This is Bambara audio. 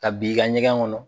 Ka bin i ka ɲɛgɛn kɔnɔ.